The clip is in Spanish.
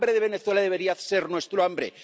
El hambre de Venezuela debería ser nuestra hambre.